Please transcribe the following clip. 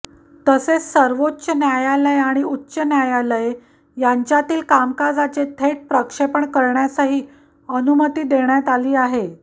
तसेच सर्वोच्च न्यायालय आणि उच्च न्यायालये यांच्यातील कामकाजाचे थेट प्रक्षेपण करण्यासही अनुमती देण्यात आली आहे